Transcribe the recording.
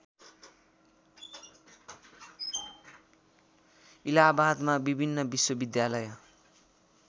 इलाहाबादमा विभिन्न विश्वविद्यालय